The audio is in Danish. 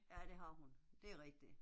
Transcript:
Ja det har hun, det er rigtigt